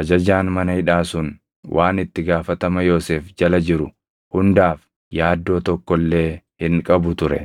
ajajaan mana hidhaa sun waan itti gaafatama Yoosef jala jiru hundaaf yaaddoo tokko illee hin qabu ture.